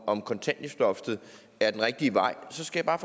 om kontanthjælpsloftet er den rigtige vej skal jeg